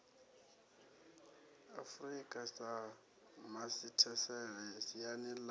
afurika sa masithesele siani ḽa